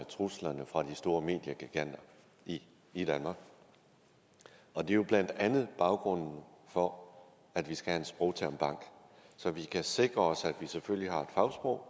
truslerne fra de store mediegiganter i danmark og det er jo blandt andet baggrunden for at vi skal have en sprogtermbank så vi kan sikre os at vi selvfølgelig har et fagsprog